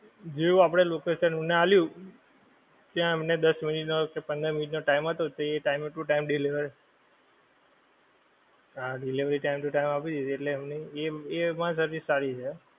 જેવુ આપણે એને location આપ્યું ત્યાં એમને દસ મિનિટનો કે પંદર મિનિટ નો time હતો તે time to time deliver હા delivery time to time આપી દીધી એટલે એમની એમા service સારી છે.